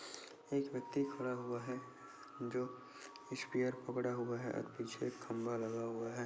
एक व्यक्ति खड़ा हुआ है जो स्पेयर पकड़ा हुआ है और पीछे खंभा लगा हुआ है।